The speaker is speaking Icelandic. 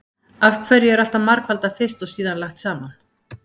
Af hverju er alltaf margfaldað fyrst og síðan lagt saman?